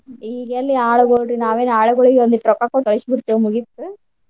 ಈಗೆಲ್ಲಿ ಆಳುಗೊಳ್ರಿ ನಾವೇನ ಆಳುಗೊಳಿಗೆ ಒಂದಿಟ್ ರೊಕ್ಕಾ ಕೊಟ್ಟ್ ಕಳ್ಸಿಬಿಡ್ತೇವ ಮುಗಿತ್.